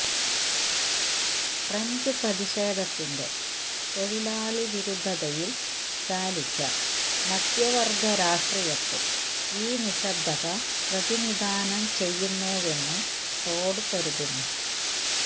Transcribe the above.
French പ്രതിഷേധത്തിന്െറ തൊഴിലാളിവിരുദ്ധതയില് ചാലിച്ച മധ്യവര്ഗ രാഷ്ട്രീയത്തെ ഈ നിശ്ശബ്ദത പ്രതിനിധാനം ചെയ്യുന്നുവെന്ന് ടോഡ് കരുതുന്നു